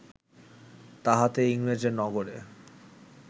তাহাতে ইংরেজের নগরে